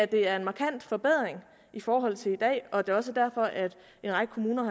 det er en markant forbedring i forhold til i dag og det er også er derfor at en række kommuner